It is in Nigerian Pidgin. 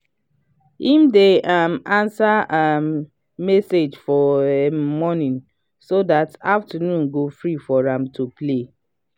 him dey um answer um message for um morning so dat afternoon go free for am to play.